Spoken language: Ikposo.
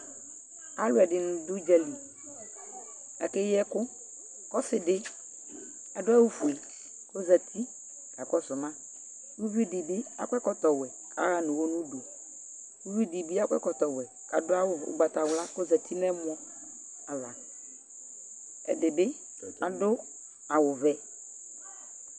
Alʋɛdɩnɩ dʋ ʋdza li kʋ akeyi ɛkʋ kʋ ɔsɩ dɩ adʋ awʋfue kʋ ɔzati kakɔsʋ ma Uvi dɩ bɩ akɔ ɛkɔtɔwɛ kʋ aɣa nʋ ʋɣɔ nʋ udu Uvi dɩ bɩ akɔ ɛkɔtɔwɛ kʋ adʋ awʋ ʋgbatawla kʋ ɔzati nʋ ɛmɔ ava Ɛdɩ bɩ adʋ awʋvɛ